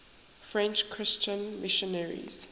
french christian missionaries